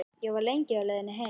Ég var lengi á leiðinni heim.